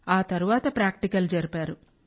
ఆ తర్వాత ప్రాక్టికల్ జరిపారు